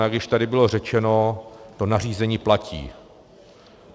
A jak již tady bylo řečeno, to nařízení platí.